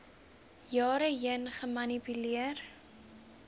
jare heen gemanipuleer